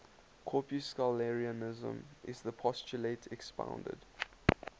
corpuscularianism is the postulate expounded